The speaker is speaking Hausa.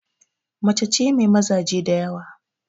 Macace mai mazaje diyawa